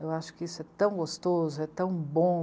Eu acho que isso é tão gostoso, é tão bom.